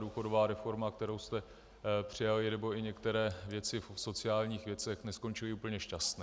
Důchodová reforma, kterou jste přijali, nebo i některé věci v sociálních věcech neskončily úplně šťastně.